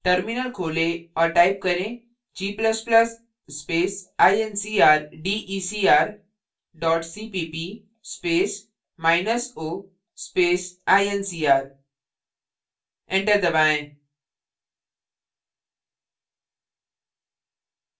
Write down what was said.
terminal खोलें और type करें g ++ space incrdecr dot cpp space minus o space incr enter दबाएँ